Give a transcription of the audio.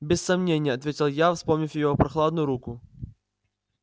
без сомнения ответил я вспомнив её прохладную руку